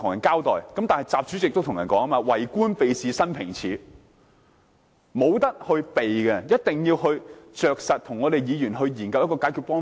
不過，正如習主席所說，"為官避事平生耻"，這是無法迴避的，一定要切實跟議員共同研究解決方法。